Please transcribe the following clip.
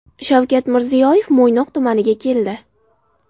Shavkat Mirziyoyev Mo‘ynoq tumaniga keldi.